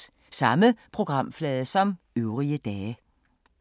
Samme programflade som øvrige dage